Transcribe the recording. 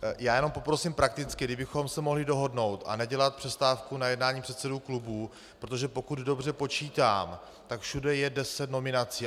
Já jenom poprosím prakticky, kdybychom se mohli dohodnout a nedělat přestávku na jednání předsedů klubů, protože pokud dobře počítám, tak všude je deset nominací.